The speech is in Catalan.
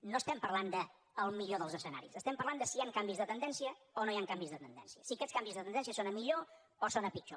no estem parlant del millor dels escenaris estem parlant de si hi han canvis de tendència o no hi han canvis de tendència si aquests canvis de tendència són a millor o són a pitjor